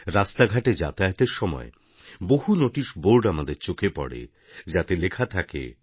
রাস্তাঘাটে যাতায়াতের সময় বহু নোটিশ বোর্ড আমাদের চোখে পড়ে যাতে লেখা থাকে